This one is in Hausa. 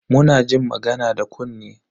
Muna jin magana da kunne.